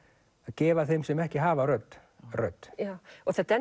gefa þeim sem ekki hafa rödd rödd þetta er